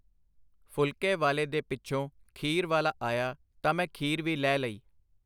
ਫੁਲ਼ਕੇ ਵਾਲੇ ਦੇ ਪਿੱਛੋਂ ਖੀਰ ਵਾਲਾ ਆਇਆ ਤਾਂ ਮੈਂ ਖੀਰ ਵੀ ਲੈ ਲਈ.